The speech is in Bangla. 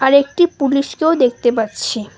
আর একটি পুলিশকেও দেখতে পাচ্ছি।